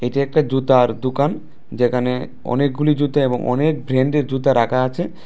এটা একটা জুতার দুকান যেখানে অনেকগুলি জুতা এবং অনেক ব্র্যান্ডের জুতা রাখা আছে।